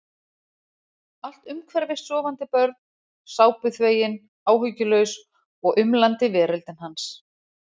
Allt um hverfis sofandi börn, sápuþvegin, áhyggjulaus og umlandi veröldin hans.